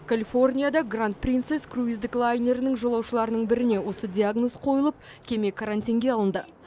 калифорнияда гранд принцес круиздік лайнерінің жолаушыларының біріне осы диагноз қойылып кеме карантинге алынды